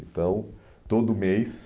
Então, todo mês...